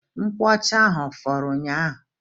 Nkwuọcha ahụ a fọrọ ụnyaahụ?